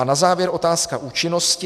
A na závěr otázka účinnosti.